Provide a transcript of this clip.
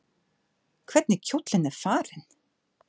Hvernig kjóllinn er farinn!